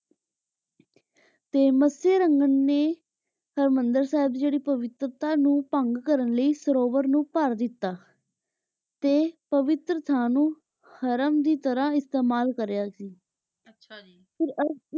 ਤੇ ਮਤਸਯ ਰੰਗਰ ਨੇ ਹਰ ਬੰਡਲ ਸਾਹਿਬ ਦੀ ਪਵਿਤ੍ਰਤਾ ਨੂ ਭੰਗ ਕਰਨ ਲੈ ਸਰੋਵਰ ਨੂ ਭਰ ਦਿਤਾ ਤੇ ਪਵਿਤਰ ਅਸਥਾਨ ਨੂ ਹਰਾਮ ਦੀ ਤਰਹ ਇਸ੍ਤਿਮਲ ਕਾਰ੍ਯ ਸੀ ਆਚਾ ਜੀ ਫੇਰ